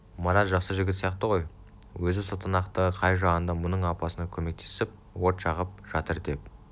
марат жақсы жігіт сияқты ғой өзі сотанақтығы қай жағында мұның апасына көмектесіп от жағып жатыр деп